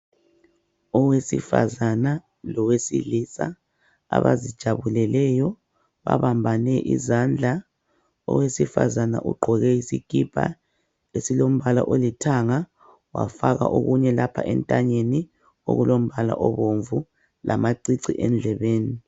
Owesifazana lowesilisa abazijabuleleyo babambane izandla. Owesifazane ugqoke isikipa esilombala olithanga wafaka okunye lapha entanyeni okulombala obomvu lamacici endlebeni.